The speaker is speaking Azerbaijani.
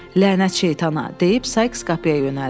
Lənətçi şeytana, deyib Sayks qapıya yönəldi.